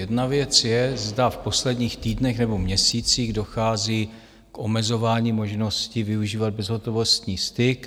Jedna věc je, zda v posledních týdnech nebo měsících dochází k omezování možností využívat bezhotovostní styk.